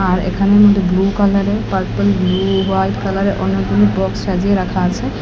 আর এখানের মধ্যে ব্লু কালারের পারপেল ব্লু হোয়াইট কালারের অনেকগুলি বক্স সাজিয়ে রাখা আছে।